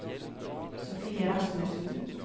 Sofie Rasmussen